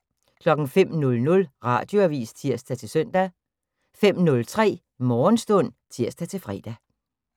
05:00: Radioavis (tir-søn) 05:03: Morgenstund (tir-fre)